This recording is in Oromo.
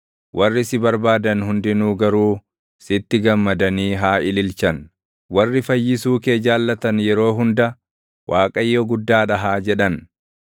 Warri si barbaadan hundinuu garuu sitti gammadanii haa ililchan. Warri fayyisuu kee jaallatan yeroo hunda, “ Waaqayyo guddaa dha!” haa jedhan.